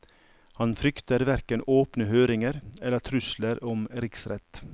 Han frykter hverken åpne høringer eller trusler om riksrett.